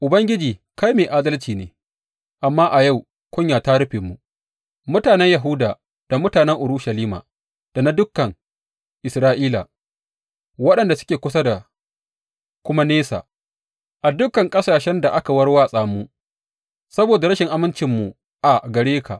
Ubangiji, kai mai adalci ne, amma a yau kunya ta rufe mu, mutanen Yahuda da mutanen Urushalima da na dukan Isra’ila, waɗanda suke kusa da kuma nesa, a dukan ƙasashen da ka warwatsa mu saboda rashin amincinmu a gare ka.